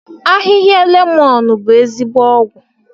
Ahịhịa lemon bụ ezigbo ọgwụ.